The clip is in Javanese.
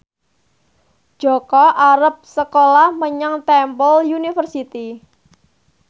Jaka arep sekolah menyang Temple University